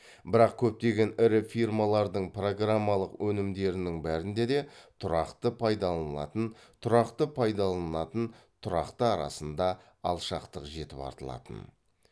бірақ көптеген ірі фирмалардың программалық өнімдерінің бәрінде де тұрақты пайдаланылатын тұрақты пайдаланылатын тұрақты арасында алшақтық жетіп артылатын